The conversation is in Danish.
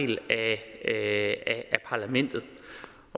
del af parlamentet